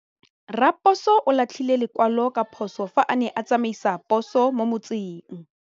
Raposo o latlhie lekwalô ka phosô fa a ne a tsamaisa poso mo motseng.